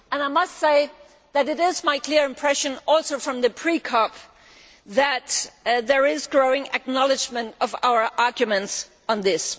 I must say that it is my clear impression also from the pre COP that there is growing acknowledgement of our arguments on this.